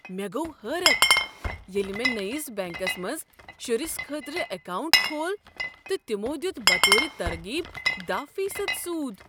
مےٚ گوٚو حیرت ییٚلہ مےٚ نٔیس بیٚنٛکس منٛز شرس خٲطرٕ اکاونٹ کھول تہٕ تمو دیت بطور ترغیب دہَ فیصد سود